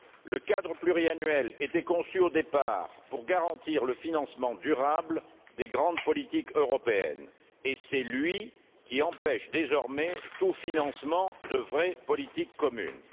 Le cadre pluriannuel était conçu, au départ, pour garantir le financement durable des grandes politiques européennes et c'est lui qui, désormais, empêche tout financement de vraies politiques communes.